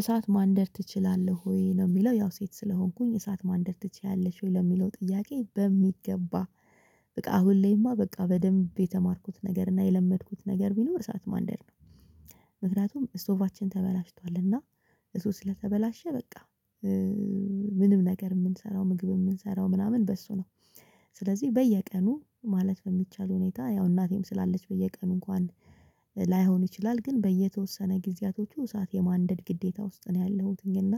እሳት ማንደድ ትችላለህ ወይ ነው የሚለው ያው ሴት ስለሆንኩኝ እሳት ማንደር ትችያለሽ ወይ ለሚለው ጥያቄ በሚገባ? በቃ አሁን ላይማ በቃ በደንብ የተማርኩት ነገር እና የለመድኩት ነገር ቢኖር በሰአት ማንደድ ነው። ምክንያቱም ስቶባችን ተበላሽቷል እና እሱ ስለተበላሸ በቃ። ምንም ነገር የምንሰራው ምግብ የምንሰራው ምናምን በእሱ ነው። ስለዚህ በየቀኑ ማለት በሚቻል ሁኔታ ያው እናቴም ስላለች በየቀኑ እንኳን ላይሆን ይችላል። ግን በየተወሰነ ጊዜያቶቹ እሳት የማንደድ ግዴታ ውስጥ ነው ያለሁትኝ እና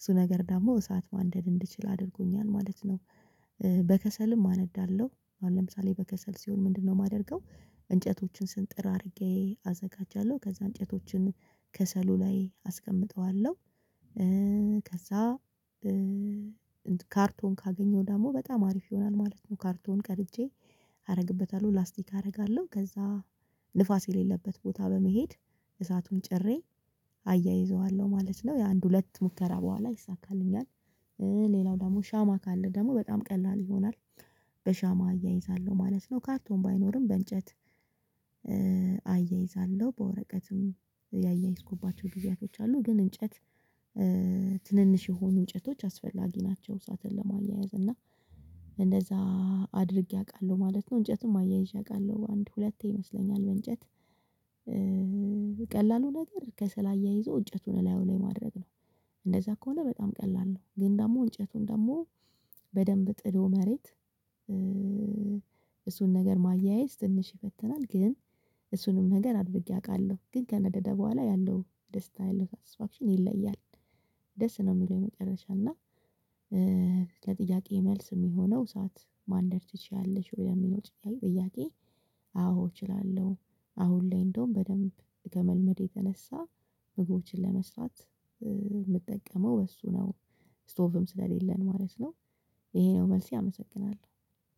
እሱ ነገር ደግሞ እሳት ማንደድ እንድችል አድርጎኛል ማለት ነው። በከሰልም አነዳለሁ አሁን ለምሳሌ በከሰል ሲሆን ምንድነው? የማደርገው እንጨቶችን ስንጥር አድርጌ አዘጋጃለሁ ከዛ እንጨቶችን ከሰሉ ላይ አስቀምጠዋለሁ። ከዛ ካርቶን ካገኘው ደግሞ በጣም አሪፍ ይሆናል ማለት ነው። ካርቶን ቀርጄ አደርግበታለሁ ላስቲክ አደርጋለሁ ከዛ ንፋስ የሌለበት ቦታ በመሄድ እሳቱን ጭሬ አያይዘዋለሁ ማለት ነው። የአንድ ሁለት ሙከራ በኋላ ይሳካልኛል። ሌላው ደግሞ ሻማ ካለ ደግሞ በጣም ቀላል ይሆናል። በሻማ አያይዛለሁ ማለት ነው ካርቶን ባይኖርም በእንጨት አያይዛለሁ በወረቀትም ያያይዝኩባቸው ጊዜያቶች አሉ። ግን እንጨት ትንንሽ የሆኑ እንጨቶች አስፈላጊ ናቸው። እሰትን ለማያያዝ እና እንደዛ አድርጌ አውቃለሁ ማለት ነው። እንጨትም አያይዤ አውቃለሁ አንድ ሁለት ይመስለኛል በእንጨት ቀላሉ ነገር ከስል አያይዞ እንጨቱን እላዩ ላይ ማድረግ ነው። እንደዛ ከሆነ በጣም ቀላል ነው። ግን ደግሞ እንጨቱን ደግሞ በደንብ ጥዶ መሬት እሱን ነገር ማያያዝ ትንሽ ይፈትናል ግን። እሱንም ነገር አድርጌ አውቃለሁ ግን ከነደደ በኋላ ያለው ደስታ ያለው ሳትስፋክሽን ይለያል። ደስ ነው የሚለው የመጨረሻ እና ለጥያቄ መልስ የሚሆነው እሰት ማንደድ ትችያለሽ ወይ ለሚለው ጥያቄ አዎ እችላለሁ። አሁን ላይ እንደውም በደንብ ከመልመድ የተነሳ ምግቦችን ለመስራት የምጠቀመው እሱ ነው። ስቶፍም ስለሌለን ማለት ነው። ይሄ ነው መልሴ አመሰግናለሁ።